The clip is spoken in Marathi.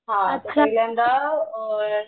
पहिल्यांदा सोयाबीन